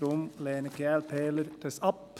Daher lehnen die Glp-ler dies ab.